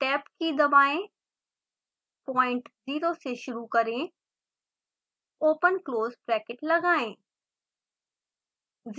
tab की key दबाएं point 0 से शुरू करें ओपन क्लोज़ ब्रैकेट लगाएं